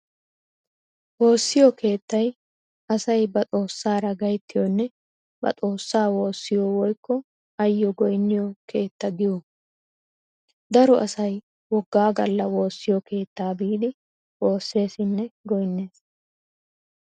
Woossiyo keettay asay ba xoossaara gayttiyonne ba xoossaa woossiyo woykko ayyo goynniyo keetta giyoogaa. Daro asay woggaa galla woossiyo keettaa biidi woosseesinne goynnees.